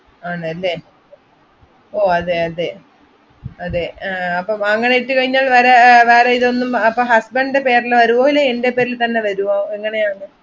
ആണല്ലേ ഓ അതെ അതെ, അതെ ആഹ് അപ്പൊ വാങ്ങാനായിട്ട് കഴിഞ്ഞാൽ വരാ~ വേറെ ഇതൊന്നും അപ്പൊ husband ഇന്റെ പേരില് വരുവൊ ഇല്ലെ എൻ്റെ പേരിൽത്തന്നെ വരുവോ എങ്ങനെയാണ്?